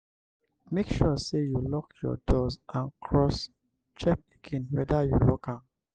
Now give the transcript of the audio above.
make sure say you lock your doors and cross-check again whether you lock am